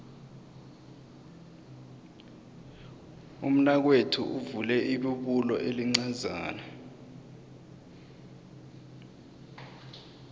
umnakwethu uvule ibubulo elincazana